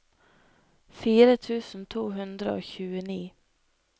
fire tusen to hundre og tjueni